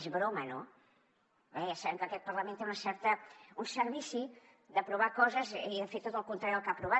és broma no bé ja sabem que aquest parlament té un cert vici d’aprovar coses i de fer tot el contrari del que ha aprovat